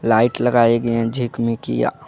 Light लगाए गये है झिकमीकिया।